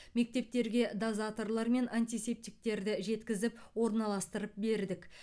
мектептерге дозаторлар мен антисептиктерді жеткізіп орналастырып бердік